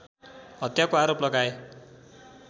हत्याको आरोप लगाए